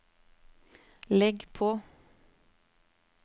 legg på